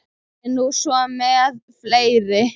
Það er nú svo með fleiri.